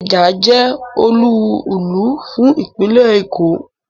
Ikeja je olúùlú fún ìpínlè Èkó